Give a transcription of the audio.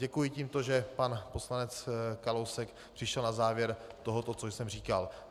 Děkuji tímto, že pan poslanec Kalousek přišel na závěr tohoto, co jsem říkal.